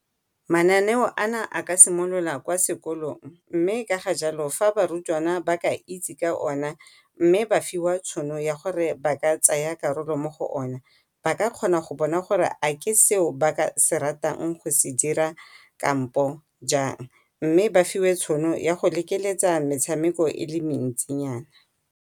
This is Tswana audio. Mananeo a na a ka simolola kwa sekolong mme ka jalo fa barutwana ba ka itse ka ona, mme ba fiwa tšhono ya gore ba ka tsaya karolo mo go o ne. Ba ka kgona go bona gore a ke seo ba ka se ratang go se dira kampo jang, mme ba fiwe tšhono ya go lekeletsa metshameko e le mentsinyana.